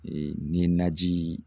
ni ye naji